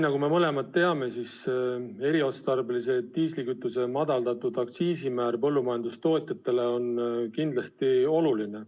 Nagu me mõlemad teame, eriotstarbelise diislikütuse madaldatud aktsiisimäär põllumajandustootjatele on kindlasti oluline.